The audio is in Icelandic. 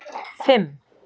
fimm